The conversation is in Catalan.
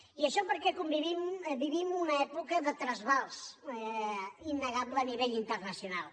i això perquè vivim una època de trasbals innegable a nivell internacional